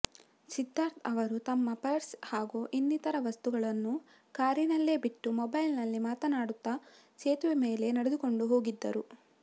ಸಿದ್ಧಾರ್ಥ ಅವರು ತಮ್ಮ ಪರ್ಸ್ ಹಾಗೂ ಇನ್ನಿತರ ವಸ್ತುಗಳನ್ನು ಕಾರಿನಲ್ಲೇ ಬಿಟ್ಟು ಮೊಬೈಲ್ನಲ್ಲಿ ಮಾತನಾಡುತ್ತಾ ಸೇತುವೆ ಮೇಲೆ ನಡೆದುಕೊಂಡು ಹೋಗಿದ್ದರು